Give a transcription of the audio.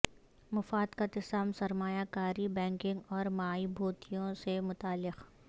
مفاد کا تصادم سرمایہ کاری بینکنگ اور مائبھوتیوں سے متعلق